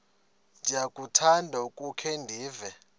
ndiyakuthanda ukukhe ndive